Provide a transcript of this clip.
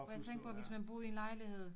For jeg tænkte på hvis man boede i en lejlighed